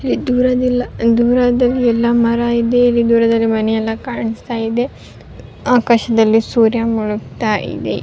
ದೂರದಲ್ಲಿ ಎಲ್ಲ ಮರ ಇದೆ ಇಲ್ಲಿ ದೂರದಲ್ಲಿ ಮನೆಯೆಲ್ಲ ಕಾಣಿಸ್ತಾ ಇದೆ ಆಕಾಶದಲ್ಲಿ ಸೂರ್ಯ ಮುಳುಗ್ತಾ ಇದೆ.